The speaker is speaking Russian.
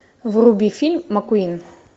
вруби фильм маккуин